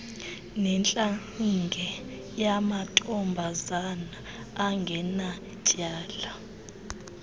netlaninge yamantombazana angenatyala